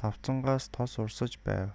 тавцангаас тос урсаж байв